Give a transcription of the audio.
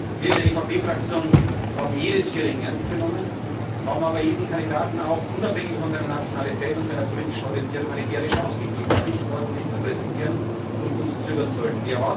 Wir in der EVP Fraktion haben jedes Hearing ernst genommen, haben aber jedem Kandidaten auch unabhängig von seiner Nationalität und seiner politischen Orientierung eine faire Chance gegeben, sich ordentlich zu präsentieren und uns zu überzeugen.